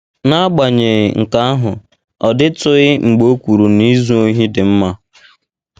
N’agbanyeghị nke ahụ, ọ dịtụghị mgbe o kwuru na izu ohi dị mma.